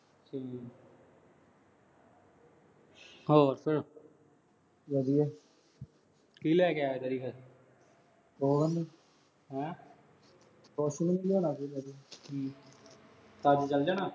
ਹੋਰ ਫੇਰ। ਵਧੀਆ। ਕੀ ਲੈ ਕੇ ਆਇਆ daddy ਫੇਰ। ਕੁਝ ਨੀ। ਹੈਂ। ਕੁਝ ਨੀ ਲਿਆਉਣਾ ਕੀ ਸੀ। ਅਹ ਅੱਜ ਜਨਮਦਿਨ ਆ।